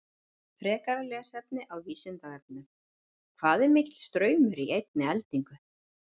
Frekara lesefni á Vísindavefnum: Hvað er mikill straumur í einni eldingu?